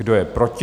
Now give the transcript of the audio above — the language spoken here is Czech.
Kdo je proti?